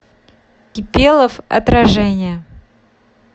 кипелов отражение